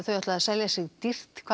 ætla að selja sig dýrt hvað